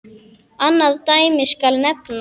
Annað dæmi skal nefna.